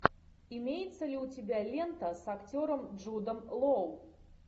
имеется ли у тебя лента с актером джудом лоу